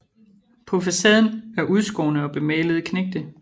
På facaden er udskårne og bemalede knægte